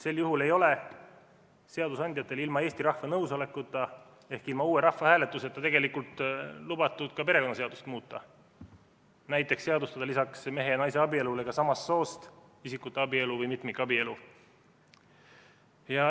Sel juhul ei ole seadusandjatel ilma Eesti rahva nõusolekuta ehk ilma uue rahvahääletuseta tegelikult lubatud ka perekonnaseadust muuta, näiteks seadustada lisaks mehe ja naise abielule ka samast soost isikute abielu või mitmikabielu.